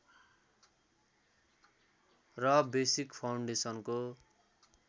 र बेसिक फाउन्डेसनको